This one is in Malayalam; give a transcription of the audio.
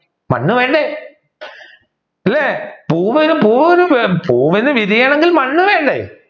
മണ്ണ് വേണ്ടേ അല്ലെ പൂവിന് വിരിയണമെങ്കിൽ മണ്ണ് വേണ്ടേ